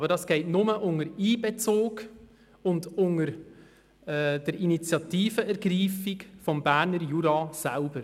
Aber das geht nur unter Einbezug und unter Ergreifung der Initiative durch den Berner Jura selbst.